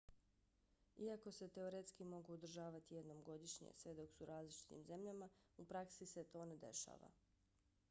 iako se teoretski mogu održavati jednom godišnje sve dok su u različitim zemljama u praksi se to ne dešava